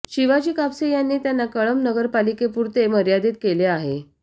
शिवाजी कापसे यांनी त्यांना कळंब नगरपालिकेपुरते मर्यादीत केले आहे